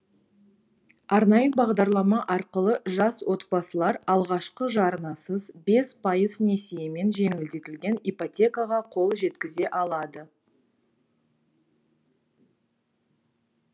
арнайы бағдарлама арқылы жас отбасылар алғашқы жарнасыз бес пайыз несиемен жеңілдетілген ипотекаға қол жеткізе алады